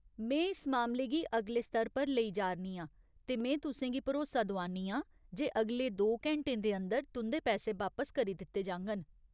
में इस मामले गी अगले स्तर पर लेई जा'रनी आं ते में तुसें गी भरोसा दोआन्नी आं जे अगले दो घैंटें दे अंदर तुं'दे पैसे बापस करी दित्ते जाङन।